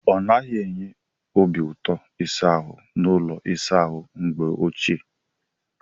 Ọ naghị enye obiụtọ ịsa ahụ n'ụlọ ịsa ahụ mgbe ochie.